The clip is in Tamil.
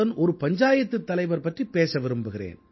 பஞ்சாயத்துத் தலைவர் பற்றிப் பேச விரும்புகிறேன்